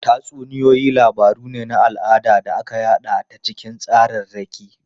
Tatsuniyoyi labaru ne na al'ada da aka yada ta cikin tsararraki.